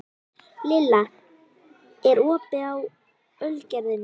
Lilla, er opið í Ölgerðinni?